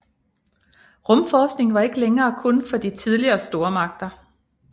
Rumforskning var ikke længere kun for de tidligere stormagter